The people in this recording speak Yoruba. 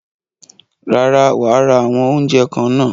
Rárá, wàá ra àwọn oúnjẹ kan náà.